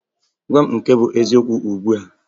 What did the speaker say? Gwa mụ nke bụ eziokwu ugbua!